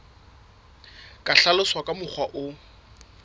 ka hlaloswa ka mokgwa o